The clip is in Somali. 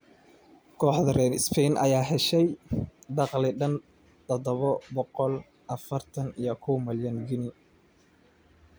Kooxda reer Spain ayaa heshay dakhli dhan tadabo boqol afartan iyo kow milyan ginni.